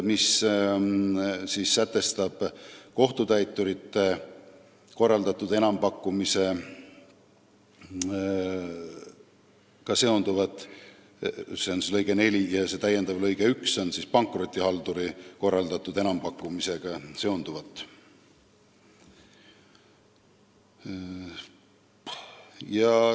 Lõige 4 sätestab kohtutäiturite korraldatud enampakkumisega seonduvat, täiendav lõige 41 käsitleb pankrotihalduri korraldatud enampakkumisega seonduvat.